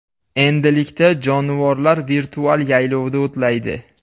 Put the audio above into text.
Endilikda jonivorlar virtual yaylovda o‘tlaydi.